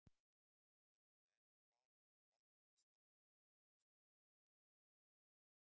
Þetta var erfitt val en ég valdi Ísland af því að fjölskyldan er héðan.